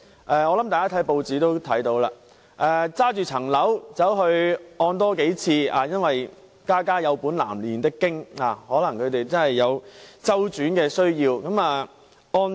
大家應該曾在報章看到一些個案，事主把物業進行多次按揭，因為"家家有本難唸的經"，他可能確實有周轉需要。